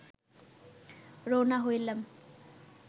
রওনা হইলাম